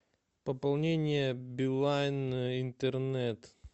пополнение билайн интернет